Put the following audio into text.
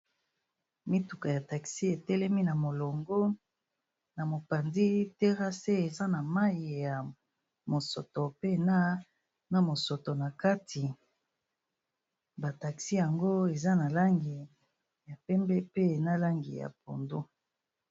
Mituka ya taxi etelemi na molongo na mopanzi terrase eza na mayi ya mosoto pe na na mosoto na kati, ba taxi yango eza na langi ya pembe pe na langi ya pondu.